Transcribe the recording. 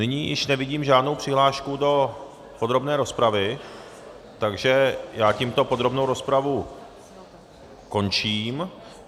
Nyní již nevidím žádnou přihlášku do podrobné rozpravy, takže já tímto podrobnou rozpravu končím.